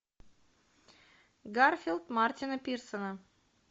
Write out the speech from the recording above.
гарфилд мартина пирсона